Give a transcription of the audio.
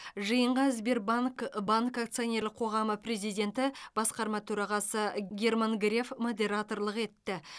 жиынға сбербанк банк акционерлік қоғамы президенті басқарма төрағасы герман греф модераторлық етті